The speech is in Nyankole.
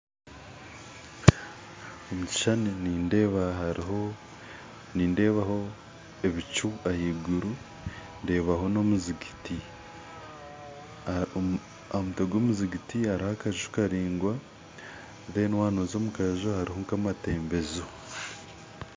Omu kishushani nindeebaho ebicu ahaiguru ndeebaho na omuzigiti, ahamutwe gwomuzigiti hariho akaju karaingwa Kandi waba noza omukaju hariho nka amatembezo.